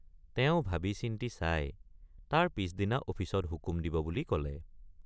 তেওঁ ভাবিচিন্তি চাই তাৰ পিচদিনা অফিচত হুকুম দিব বুলি কলে।